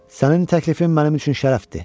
Sənin təklifin mənim üçün şərəfdir.